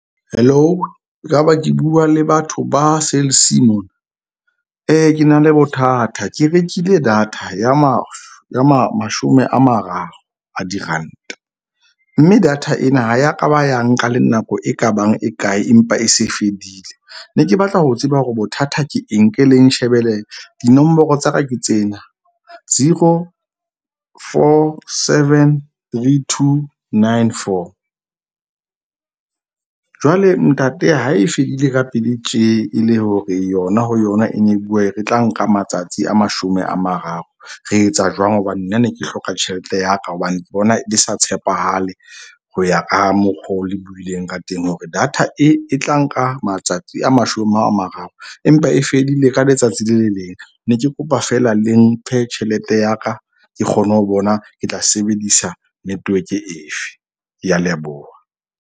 Hello ekaba ke bua le batho ba sales mona? Ke na le bothata, ke rekile data ya mashome a mararo a diranta. Mme data ena ha ya kaba ya nka le nako e kabang e kae empa e se fedile. Ne ke batla ho tseba hore bothata ke eng ke le nshebele dinomoro tsa ka ke tsena, zero, four, seven, three, two, nine, four. Jwale ntate ha e fedile ka pele tje e le hore yona ho yona e ne e bua e re e tla nka matsatsi a mashome a mararo. Re etsa jwang hobane nna ne ke hloka tjhelete ya ka. Hobane ke bona le sa tshepahale ho ya ka mokgo le buileng ka teng hore data e tla nka matsatsi a mashome a mararo, empa e fedile ka letsatsi le le leng. Ne ke kopa feela le mphe tjhelete ya ka ke kgone ho bona ke tla sebedisa network efe? Ke a leboha.